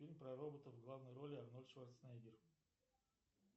фильм про роботов в главной роли арнольд шварценеггер